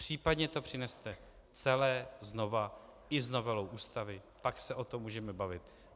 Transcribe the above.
Případně to přineste celé znovu i s novelou Ústavy, pak se o tom můžeme bavit.